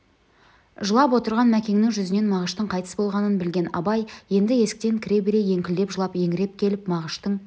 жылап отырған мәкеннің жүзінен мағыштың қайтыс болғанын білген абай енді есіктен кіре бере еңкілдеп жылап еңіреп келіп мағыштың